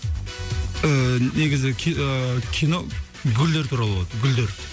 ыыы негізі ыыы кино гүлдер туралы болады гүлдер